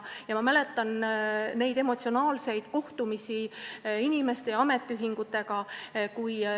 Ma mäletan emotsionaalseid kohtumisi inimeste ja ametiühingutega.